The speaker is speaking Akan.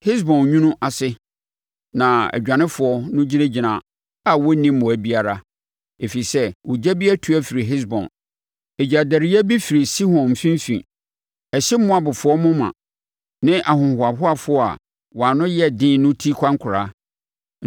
“Hesbon nwunu ase na adwanefoɔ no gyinagyina a wɔnni mmoa biara, ɛfiri sɛ ogya bi atu afiri Hesbon; ɛgyadɛreɛ bi firi Sihon mfimfini; ɛhye Moabfoɔ moma, ne ahohoahoafoɔ a wɔn ano yɛ den no ti kwankoraa.